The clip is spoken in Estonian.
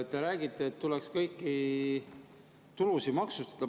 Te räägite, et tuleks kõiki tulusid maksustada.